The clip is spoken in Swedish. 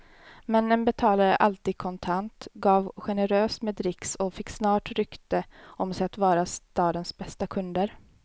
Männen betalade alltid kontant, gav generöst med dricks och fick snart rykte om sig att vara stadens bästa kunder.